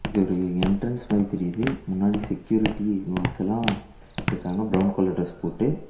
இது ஒரு என்ட்ரன்ஸ் மாரி தெரியுது முன்னாடி செக்யூரிட்டி காட்ஸ் எல்லா இருக்காங்க பிரவுன் கலர் டிரஸ் போட்டு.